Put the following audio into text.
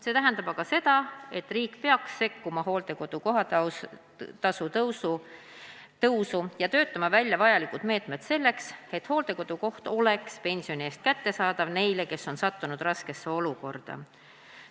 See tähendab aga seda, et riik peaks sekkuma hooldekodu kohatasu tõusu ja töötama välja vajalikud meetmed selleks, et hooldekodukoht oleks pensioni eest kättesaadav neile, kes on sattunud raskesse olukorda.